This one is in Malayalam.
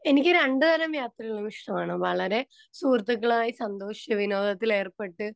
സ്പീക്കർ 2 എനിക്കു രണ്ടു തരം യാത്രകളും ഇഷ്ടമാണ്. വളരെ സുഹൃത്തുക്കളായി സന്തോഷാവിനോദത്തിൽ ഏർപ്പെട്ട്